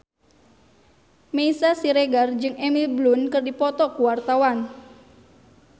Meisya Siregar jeung Emily Blunt keur dipoto ku wartawan